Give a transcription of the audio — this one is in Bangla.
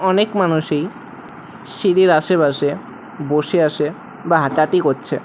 অনেক মানুষই সিঁড়ির আশেপাশে বসে আসে বা হাঁটাহাঁটি করছে।